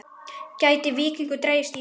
Gæti Víkingur dregist í þetta?